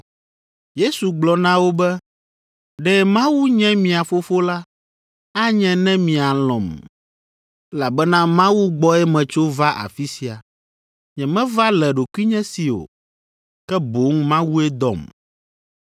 Yesu gblɔ na wo be, “Ɖe Mawu nye mia Fofo la, anye ne mialɔ̃m, elabena Mawu gbɔe metso va afi sia. Nyemeva le ɖokuinye si o, ke boŋ Mawue dɔm.